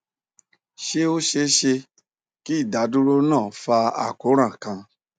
ṣe o ṣee ṣe ki idaduro naa fa akoran kan